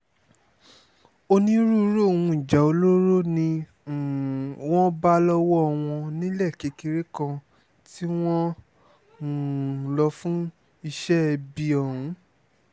onírúurú ohun ìjà olóró ni um wọ́n bá lọ́wọ́ wọn nílẹ̀ kékeré kan tí wọ́n ń um lò fún iṣẹ́ ibi ọ̀hún